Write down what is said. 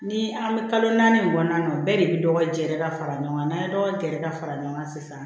Ni an bɛ kalo naani nin kɔnɔna na bɛɛ de bɛ dɔgɔ jɛ ka fara ɲɔgɔn kan n'an ye dɔgɔ gɛrɛ ka fara ɲɔgɔn kan sisan